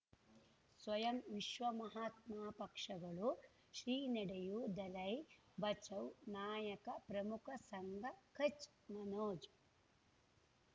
ಸ್ವಯಂ ವಿಶ್ವ ಮಹಾತ್ಮ ಪಕ್ಷಗಳು ಶ್ರೀ ನಡೆಯೂ ದಲೈ ಬಚೌ ನಾಯಕ ಪ್ರಮುಖ ಸಂಘ ಕಚ್ ಮನೋಜ್